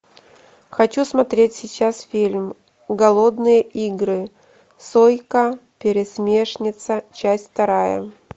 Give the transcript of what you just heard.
хочу смотреть сейчас фильм голодные игры сойка пересмешница часть вторая